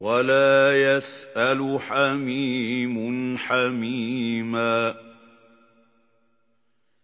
وَلَا يَسْأَلُ حَمِيمٌ حَمِيمًا